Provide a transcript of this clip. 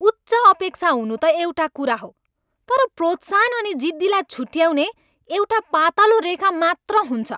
उच्च अपेक्षा हुनु त एउटा कुरा हो, तर प्रोत्साहन अनि जिद्दीलाई छुट्याउने एउटा पातलो रेखा मात्र हुन्छ।